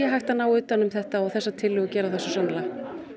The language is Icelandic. hægt að ná utan um þetta og þessar tillögur gera það svo sannarlega